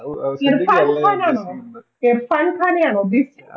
ഇർഫാൻ ഖാൻ ആണോ ഇർഫാൻ ഖാൻനെ ആണോ ഉദ്ദേശിച്ചേ